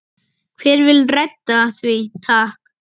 Hver vill redda því takk?